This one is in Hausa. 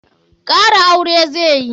Kara aure zai yi.